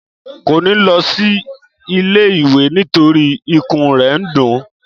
Kò ní lọsí ilé ìwé nítorí ikùn rè n dún